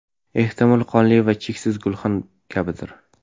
Ehtimol, qonli va cheksiz gulxan kabidir?